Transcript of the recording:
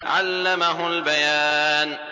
عَلَّمَهُ الْبَيَانَ